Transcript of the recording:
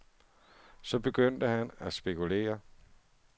Så begyndte han at spekulere.